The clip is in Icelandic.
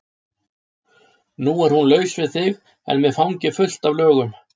Nú er hún laus við þig en með fangið fullt af lögum.